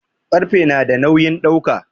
Ƙarfe nada nawin dauka